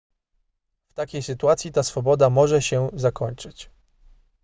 w takiej sytuacji ta swoboda może się zakończyć